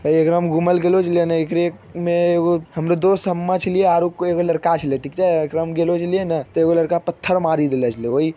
हे एकरा में घूमे ले गेलो जेले ने एकरे में एगो हमरो दोस्त सब मछली आरो कोई एगो लड़का छिले ठीक छै एकरा में गेलो जे लिए ने एगो लड़का पत्थर मारी देला छैले ओहि --